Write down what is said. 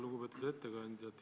Lugupeetud ettekandja!